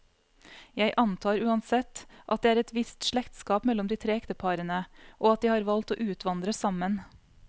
Jeg antar uansett, at det er et visst slektskap mellom de tre ekteparene, og at de har valgt å utvandre sammen.